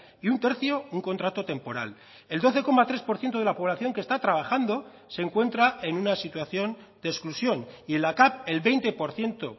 y un tercio un contrato temporal el doce coma tres por ciento de la población que está trabajando se encuentra en una situación de exclusión y en la cav el veinte por ciento